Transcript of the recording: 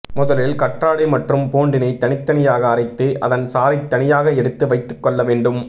முதலில் கற்றாழை மற்றும் பூண்டினை தனித்தனியாக அரைத்து அதன் சாறை தனியாக எடுத்து வைத்து கொள்ள வேண்டும்